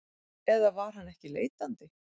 Eða var hann ekki leitandi?